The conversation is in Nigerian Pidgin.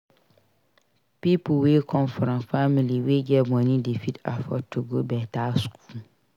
Pipo wey come from family wey get money dey fit afford to go better school